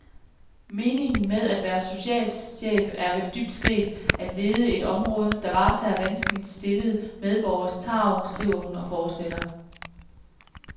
Meningen med at være socialchef er vel dybt set at lede et område, der varetager vanskeligt stillede medborgeres tarv, skriver hun og fortsætter.